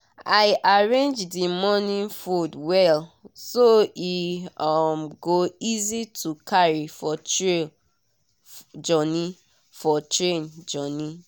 i arrange the morning food well so e um go easy to carry for train journey. for train journey.